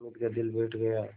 हामिद का दिल बैठ गया